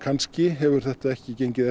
hefur þetta ekki gengið